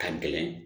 Ka gɛlɛn